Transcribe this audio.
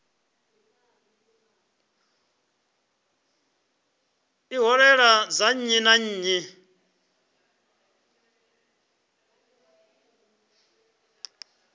ṱhoḓea dza nnyi na nnyi